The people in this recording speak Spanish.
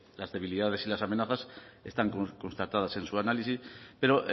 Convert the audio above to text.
las debilidades y las amenazas están constatadas en su análisis pero